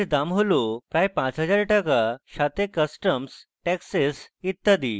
rs দাম হল প্রায় 5000 টাকা সাথে customs taxes ইত্যাদি